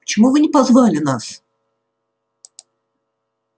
почему вы не позвали нас